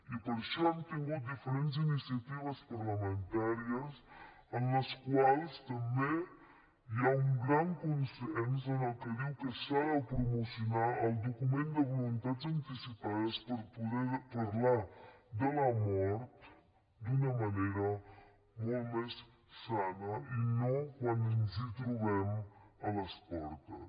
i per això hem tingut diferents iniciatives parlamentàries en les quals també hi ha un gran consens en el que diu que s’ha de promocionar el document de voluntats anticipades per poder parlar de la mort d’una manera molt més sana i no quan ens hi trobem a les portes